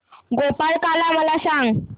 गोपाळकाला मला सांग